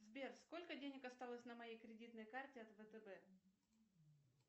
сбер сколько денег осталось на моей кредитной карте от втб